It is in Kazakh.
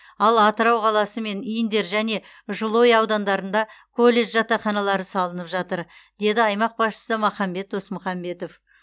ал атырау қаласы және индер мен жылыой аудандарында колледж жатақханалары салынып жатыр деді аймақ басшысы махамбет досмұхамбетов